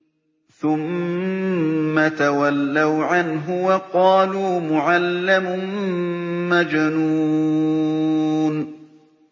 ثُمَّ تَوَلَّوْا عَنْهُ وَقَالُوا مُعَلَّمٌ مَّجْنُونٌ